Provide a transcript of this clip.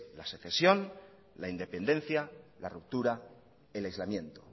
la asociación la independencia la ruptura el aislamiento